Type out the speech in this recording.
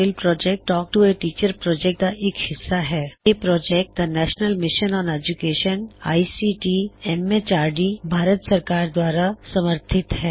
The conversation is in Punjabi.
ਇਹ ਪ੍ਰੌਜੈਕਟ ਦਾ national mission on education I C T M H R D the national mission on education ICT MHRD Bharat ਸਰਕਾਰ ਦੁਆਰਾ ਸਮਰਥਿਤ ਹੈ